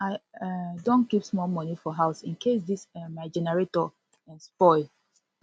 i um don keep small moni for house incase dis um my generator spoil